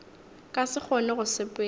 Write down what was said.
ka se kgone go sepela